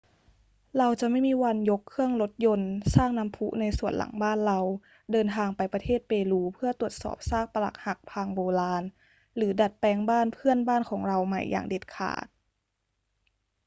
เราจะไม่มีวันยกเครื่องรถยนต์ สร้างน้ำพุในสวนหลังบ้านเรา เดินทางไปประเทศเปรูเพื่อตรวจสอบซากปรักหักพังโบราณ หรือดัดแปลงบ้านเพื่อนบ้านของเราใหม่อย่างเด็ดขาด